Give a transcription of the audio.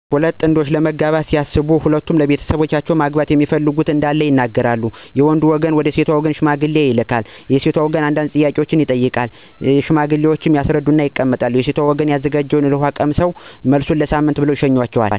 ሁለት ጥንዶች ለመጋባት ሲያስቡ በመጀመሪያ ለሁለቱም ቤተሰብ ለማጋባት እንዳሰቡ እና ለ ትዳር የመረጣት(የመረጠችዉ) እንዳለ ያሳዉቃሉ. ከዛም ሽማግሌ ተመርጠው ከወንድ ቤተሰብ ወደ ሴቷ ቤተሰብ ይልካሉ .የሴቷ ቤተሰብም ተዘጋጅተው ይጠብቃሉ። ሽማግሌዎች እንደመጡ የመጡበትን ጉዳይ ሳይናገሩ አይቀመጡም። ከዛም ልጃችሁን ለ ልጃችን በማለት ጥያቄውን ያቀርባሉ .የሴቷ ቤተሰብም, ስለ ልጁ ማንነት፣ የማን ቤተሰብ ልጅ እንደሆነ፣ ምን እንደሚሰራ(መተዳደሪያው)ይጠይቃሉ .ከዛም ያለዉን ነገር አሳውቀው ይቀመጡ እና ቤት ያፈራውን የሚበላም, የሚጠጣም ይቀማምሱ እና ውሳኔአቸውን ከሳምንት በኋላ እናሳዉቃለን በማለት ይሸኟቸዋል።